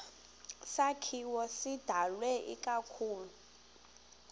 sakhiwo sidalwe ikakhulu